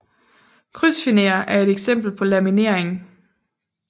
Krydsfiner er et eksempel på laminering